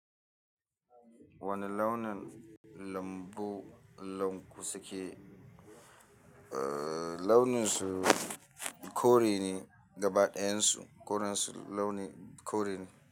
Wani launin lambu, lanku suke, uh launin su kore ne gaba ɗayan su koren su launi kore ne.